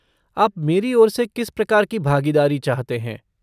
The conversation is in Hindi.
आप मेरी ओर से किस प्रकार की भागीदारी चाहते हैं।